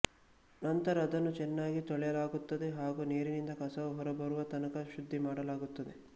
ನಂತರ ಅದನ್ನು ಚೆನ್ನಾಗಿ ತೊಳೆಯಲಾಗುತ್ತದೆ ಹಾಗೂ ನೀರಿನಿಂದ ಕಸವು ಹೊರಬರುವ ತನಕ ಶುದ್ದಿ ಮಾಡಲಾಗುತ್ತದೆ